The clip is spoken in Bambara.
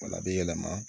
Wala bɛ yɛlɛma